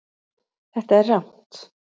Þetta er rangt